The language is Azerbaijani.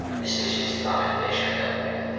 İsveçli istiqaməti dəyişmək qərarına gəldi.